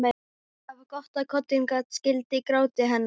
Það var gott að koddinn gat skýlt gráti hennar.